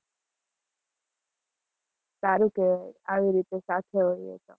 સારું કેવાય આવી રીતે સાથે હોઇએ.